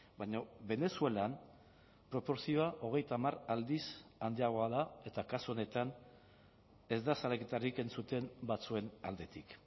baina venezuelan proportzioa hogeita hamar aldiz handiagoa da eta kasu honetan ez da salaketarik entzuten batzuen aldetik